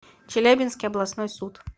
челябинский областной суд